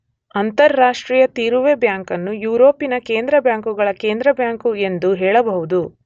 ಅಂತಾರಾಷ್ಟ್ರೀಯ ತೀರುವೆ ಬ್ಯಾಂಕನ್ನು ಯುರೋಪಿನ ಕೇಂದ್ರ ಬ್ಯಾಂಕುಗಳ ಕೇಂದ್ರಬ್ಯಾಂಕು ಎಂದು ಹೇಳಬಹುದು.